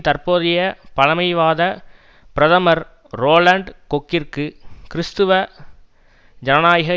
தற்போதைய பழைமைவாத பிரதமர் ரோலண்ட் கொக்கிற்கு கிறிஸ்துவ ஜனநாயக